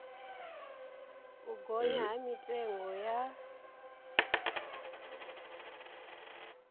u gonya ha mitengo ya